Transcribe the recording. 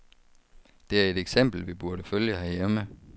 Det er et eksempel, vi burde følge herhjemme.